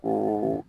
O